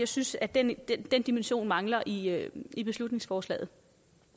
synes at den dimension mangler i i beslutningsforslaget